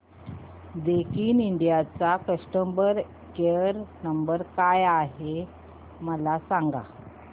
Daikin India चा customer care क्रमांक काय आहे मला सांगा